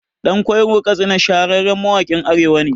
Ɗan Ƙwairon Katsina shahararren mawaƙin Arewa ne